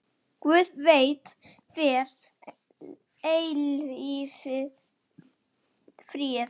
Guð veiti þér eilífan frið.